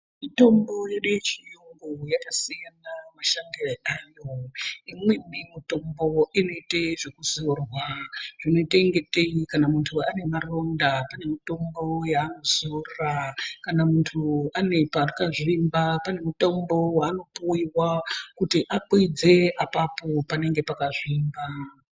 Mitombo yedu yechiyungu yakasiyana mashandire ayo. Imweni mutombo inoite zvekuzorwa zvinoita ingatei muntu anemaronda panemitombo yaanozora. Kana muntu anepaakazvimba pane mutombo waanopuiwa kuti akwidze apapo panenge pakazvimba..